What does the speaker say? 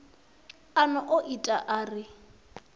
a no o ita uri